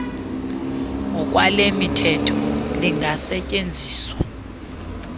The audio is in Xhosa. ngokwale mithetho lingasetyenziswa